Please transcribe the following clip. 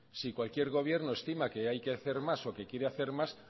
si cualquier gobierno estima que hay que hacer más o que quiere hacer más